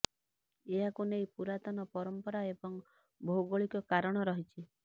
ଏହାକୁ ନେଇ ପୁରାତନ ପରମ୍ପରା ଏବଂ ଭୌଗୋଳିକ କାରଣ ରହିଛି